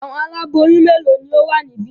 Àwọn aláboyún mélòó ni ó wà níbí?